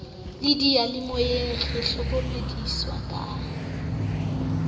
le diyalemoyeng re hlokomediswa ka